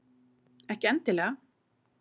Ekki endilega.